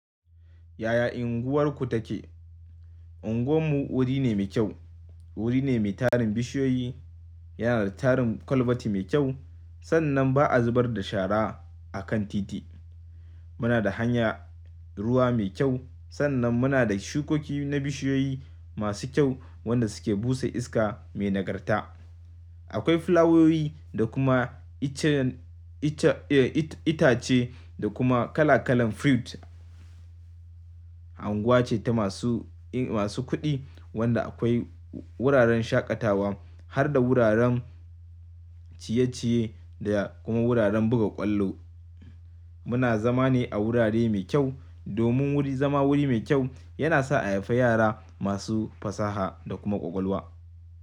Yaya unguwarku take? Unguwan mu wuri ne mai kyau, wuri ne mai tarin bishiyoyi, yana da tarin kwalbati mai kyau, sannan ba a zubar da shara a kan titi. Muna da hanya, ruwa mai kyau, sannan muna da shukoki na bishiyoyi masu kyau, wanda suke busa iska mai nagarta. Akwai fulawowi da kuma icen, ita-itace, da kuma kala kalan fruit. Anguwa ce ta masu, masu kuɗi, wanda akwai wuraren shaƙatawa har da wuraren, ciye-ciye, da kuma wuraren buga ƙwallo. Muna zama ne a wurare mai kyau, domin wuri, zama wuri mai kyau yana sa a haife yara masu fasaha da kuma ƙwaƙwalwa.